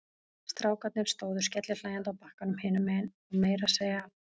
Strákarnir stóðu skellihlæjandi á bakkanum hinum megin og meira að segja